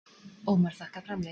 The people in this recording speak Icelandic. Ómar þakkar framlögin